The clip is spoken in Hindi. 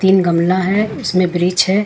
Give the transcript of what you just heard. तीन गमला है उसमें वृक्ष है।